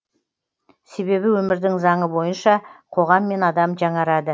себебі өмірдің заңы бойынша қоғам мен адам жаңарады